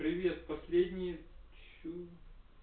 последние